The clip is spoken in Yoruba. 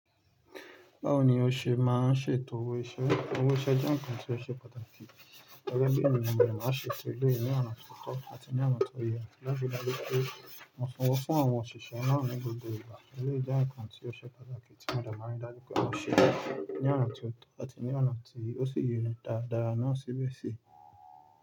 Báwo ni o ṣe máa ń ṣètò owó iṣẹ́? Owó iṣẹ́ jẹ́ ǹkan tí ó ṣe pàtàkì, tẹ́lẹ̀ bẹ́ẹ̀ ni ọmọ mi máa ń ṣètò lórí ní ọ̀nà tó tọ́ àti ní ọ̀nà tó yẹ láti dájú pé ó fún sowó fún àwọn òṣìṣẹ́ ńaá ní gbogbo ìgbà. Ó lé jẹ́ ǹkan tí ó ṣe pàtàkì tí mo de máa ń ri dájú pé mó ṣẹ́ ní ọ̀nà tí ó tọ́ àti ní ọ̀nà tí ó sì yẹni dáadáa náà síbẹ̀ sì.